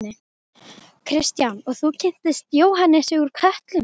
Kristján: Og þú kynntist Jóhannesi úr Kötlum?